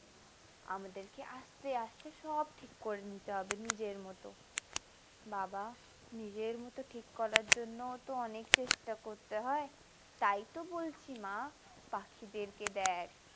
আমাদেরকে আস্তে আস্তে সব ঠিক করে নিতে হবে নিজের মতো বাবা নিজের মতো ঠিক করার জন্য তো অনেক চেষ্টা করতে হয় তাই তো বলছি মা পাখিদের কে দেখ।